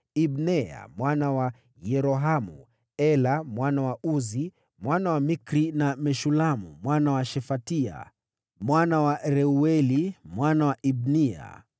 Ibneya mwana wa Yerohamu, Ela mwana wa Uzi, mwana wa Mikri; na Meshulamu mwana wa Shefatia, mwana wa Reueli, mwana wa Ibniya.